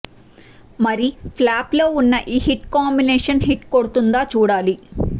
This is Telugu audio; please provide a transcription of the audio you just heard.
మరి ప్లాప్ ల్లో ఉన్న ఈ హిట్ కాంబినేషన్ హిట్ కొడుతుందా చూడాలి